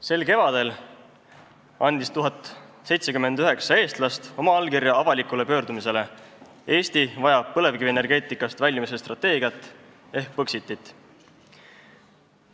Sel kevadel andis 1079 eestlast oma allkirja avalikule pöördumisele "Eesti vajab põlevkivienergeetikast väljumise strateegiat ehk Põxitit".